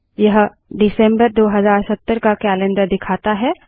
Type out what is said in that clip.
यह दिसम्बर 2070 का कैलन्डर दिखाता है